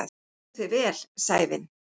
Þú stendur þig vel, Sævin!